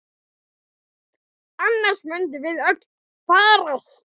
Annars munum við öll farast!